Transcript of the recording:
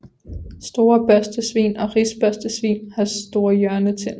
Store børstesvin og risbørstesvin har store hjørnetænder